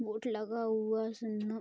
boat लगा हुआ --